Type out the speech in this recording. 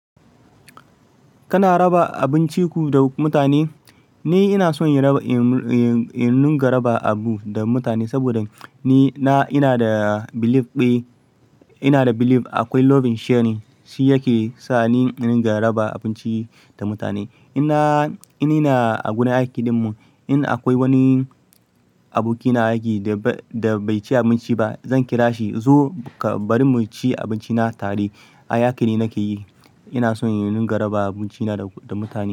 Kana raba abinciku da mutane? Ni ina son in raba, in, in nunga raba abu da mutane saboda ni, na, ina da belief ɗaya, ina da belief akwai love in sharing, shi yake sa ni ina gan raba abinci da mutane. In ina a gurin aiki dinmu, in akwai wani aboki na aiki da bai, da bai ci abinci ba, zan kira shi zo ka bari mu ci abinci na tare. A aiki ne nake yi. Ina son in runga raba abinci na da mutane.